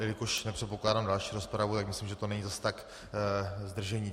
Jelikož nepředpokládám další rozpravu, tak myslím, že to není zas tak zdržení.